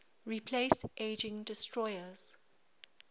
replace aging destroyers